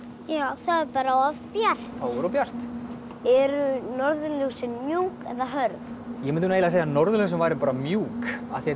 það er bara of bjart þá er of bjart eru norðurljósin mjúk eða hörð ég mundi segja að norðurljósin væru mjúk af því þetta